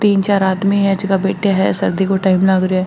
तीन चार आदमी है जेका बैठा है सर्दी को टाइम लाग रो है।